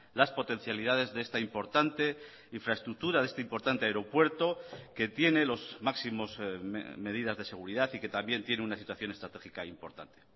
las potencialidades de esta importante infraestructura de este importante aeropuerto que tiene los máximos medidas de seguridad y que también tiene una situación estratégica importante